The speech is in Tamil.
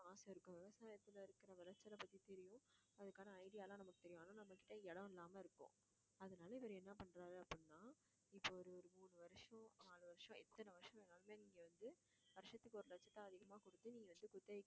ஆச இருக்கும் விவசாயத்துல இருக்கற விளைச்சலை பத்தி தெரியும் அதுக்கான idea எல்லாம் நமக்கு தெரியும் ஆனா நம்ம கிட்ட இடம் இல்லாம இருக்கும் அதனால இவரு என்ன பண்றாரு அப்படின்னா இப்ப ஒரு ஒரு மூணு வருஷம், ஆறு வருஷம் எத்தன வருஷம் வேணாலும் நீங்க வந்து வருஷத்துக்கு ஒரு லட்சத்தை அதிகமா கொடுத்து நீ வந்து குத்தகைக்கு